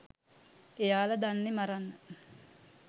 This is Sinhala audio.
එයාලා දන්නෙ මරන්න